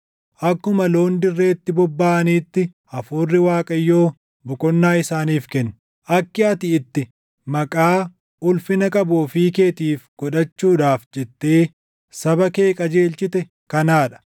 akkuma loon dirreetti bobbaʼaniitti, Hafuurri Waaqayyoo boqonnaa isaaniif kenne. Akki ati itti maqaa ulfina qabu ofii keetiif godhachuudhaaf jettee saba kee qajeelchite kanaa dha.